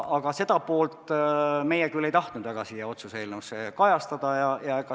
Aga seda poolt meie küll ei tahtnud väga siin otsuse eelnõus kajastada.